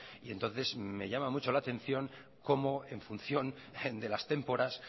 y entonces me llama mucho la atención cómo en función de las témporas